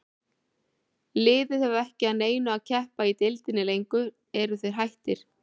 Liðið hefur ekki að neinu að keppa í deildinni lengur, eru þeir hættir?